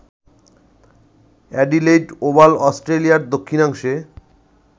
Adelaide Oval অস্ট্রেলিয়ার দক্ষিণাংশে